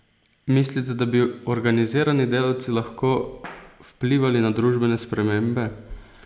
Mislite, da bi organizirani delavci lahko vplivali na družbene spremembe?